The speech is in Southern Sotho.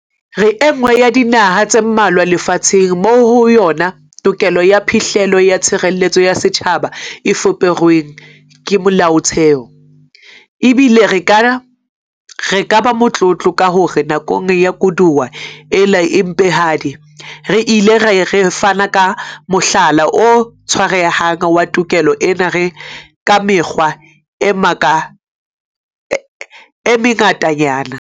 Re enngwe ya dinaha tse mmalwa lefa tsheng moo ho yona tokelo ya phihlello ya tshireletso ya setjhaba e fuperweng ke Molaotheo, ebile re ka ba motlotlo ka hore nakong ya koduwa ena e mpehadi re ile ra fana ka mohlala o tshwarehang wa tokelo ena ka mekgwa e mengatanyana.